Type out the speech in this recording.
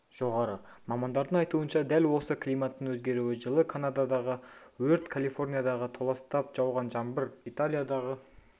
жоғары мамандардың айтуынша дәл осы климаттың өзгеруі жылы канададағы өрт калифорниядағы толастап жауған жаңбыр италиядағы